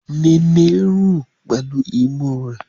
Nene ń rùn pẹ̀lú imú rẹ̀.